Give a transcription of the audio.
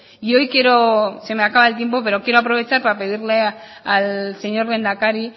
y hoy quiero se me acaba el tiempo pero quiero aprovechar para pedirle al señor lehendakari